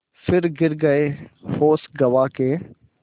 फिर गिर गये होश गँवा के